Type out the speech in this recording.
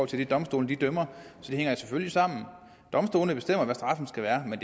til det domstolene dømmer så det hænger selvfølgelig sammen domstolene bestemmer hvad straffen skal være men